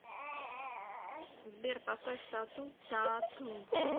сбер поставь тату т а т у